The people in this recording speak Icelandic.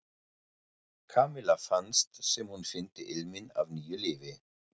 Kamilla fannst sem hún fyndi ilminn af nýju lífi.